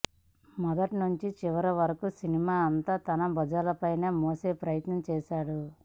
మొదట్నుంచీ చివరివరకూ సినిమాను అంతా తన భుజాలపై మోసే ప్రయత్నం చేశాడు